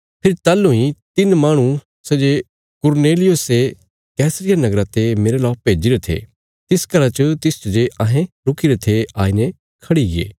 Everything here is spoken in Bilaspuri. फेरी ताहलूं इ तिन्न माहणु सै जे कुरनेलियुसे कैसरिया नगरा ते मेरला भेज्जीरे थे तिस घरा च तिसच जे अहें रुकीरे थे आईने खड़ीगे